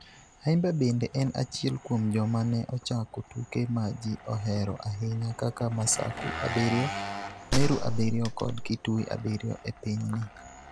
Ayimba bende en achiel kuom joma ne ochako tuke ma ji ohero ahinya kaka Masaku abiriyo, Meru abiriyo kod Kitui abiriyo e pinyni.